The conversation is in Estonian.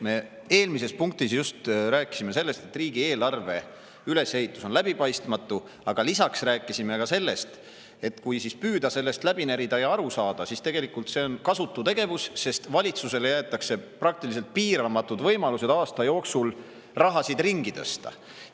Me eelmises punktis just rääkisime sellest, et riigieelarve ülesehitus on läbipaistmatu, aga lisaks rääkisime sellest, et kui püüda sellest läbi närida ja aru saada, siis tegelikult see on kasutu tegevus, sest valitsusele jäetakse praktiliselt piiramatud võimalused aasta jooksul raha ringi tõsta.